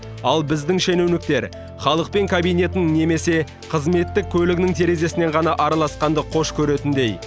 ал біздің шенеуніктер халықпен кабинетінің немесе қызметтік көлігінің терезесінен ғана араласқанды қош көретіндей